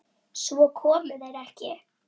Svo komu þeir ekki.